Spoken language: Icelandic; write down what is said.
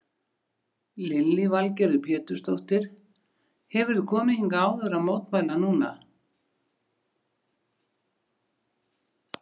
Lillý Valgerður Pétursdóttir: Hefurðu komið hingað áður að mótmæla núna?